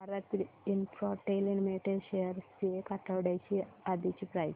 Bharti Infratel limited shares ची एक आठवड्या आधीची प्राइस